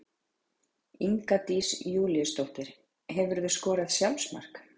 Inga Dís Júlíusdóttir Hefurðu skorað sjálfsmark?